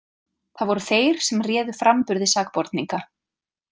Það voru þeir sem réðu framburði sakborninga.